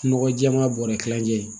Nɔgɔ jɛɛma bɔrɛ kilancɛ